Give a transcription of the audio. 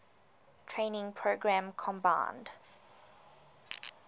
training program combined